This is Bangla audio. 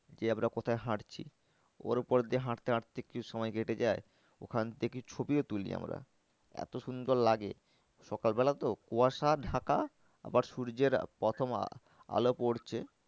যে আমরা কথায় হাঁটছি ওর উপর দিয়ে হাঁটতে হাঁটতে কিছু সময় কেটে যায়। ওখান থেকে ছবিও তুলি আমরা এত সুন্দর লাগে সকাল বেলা তো কুয়াশা ঢাকা আবার সূর্যের প্রথম আলো পড়ছে